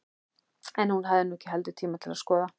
En hún hafði nú ekki heldur tíma til að skoða